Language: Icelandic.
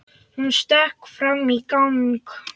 Hún stökk fram í gang.